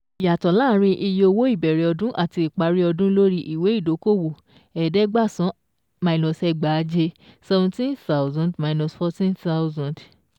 Ìyàtọ̀ láàárín iye owó ìbẹ̀rẹ̀ ọdún àti ìparí ọdún lórí ìwé ìdókòwò minus ẹ̀ẹ́dẹ́gbàsán ẹgbàaje seventeen thousand minus fourteen thousand